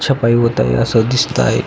सफाई होत आहे अस दिसत आहे.